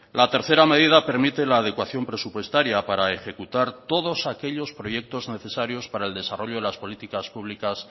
la tercera medida permite la adecuación presupuestaria para ejecutar todos aquellos proyectos necesarios para el desarrollo de las políticas públicas